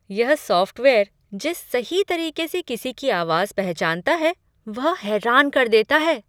यह सॉफ़्टवेयर जिस सही तरीके से किसी की आवाज पहचानता है वह हैरान कर देता है।